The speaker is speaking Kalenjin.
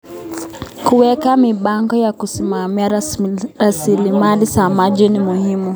Kuweka mipango ya kusimamia rasilimali za maji ni muhimu.